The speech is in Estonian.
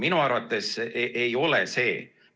Minu arvates ei ole see nii.